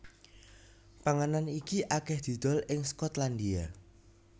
Panganan iki akèh didol ing Skotlandia